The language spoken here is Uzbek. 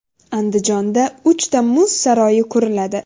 Andijonda uchta muz saroyi quriladi.